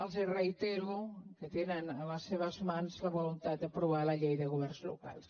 els reitero que tenen a les seves mans la voluntat d’aprovar la llei de governs locals